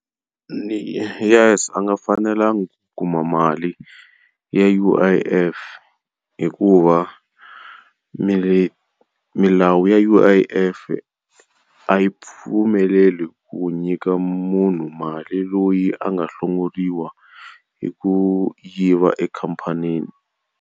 Ni yes a nga fanelanga kuma mali ya U_I_F hikuva milawu ya U_I_F a yi pfumeleli ku nyika munhu mali loyi a nga hlongoriwa hi ku yiva ekhamphanini.